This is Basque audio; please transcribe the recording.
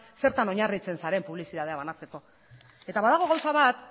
zertan oinarritzen zaren publizitatea banatzeko eta badago gauza bat